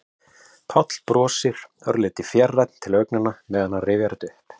Páll brosir, örlítið fjarrænn til augnanna meðan hann rifjar þetta upp.